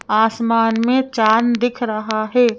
आसमान में चांद दिख रहा है।